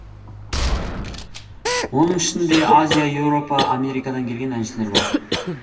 оның ішінде азия еуропа америкадан келген әншілер бар